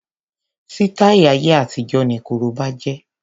Sítáì ayé àtijó ni korobá jẹ́.